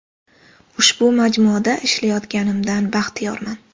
“Ushbu majmuada ishlayotganimdan baxtiyorman.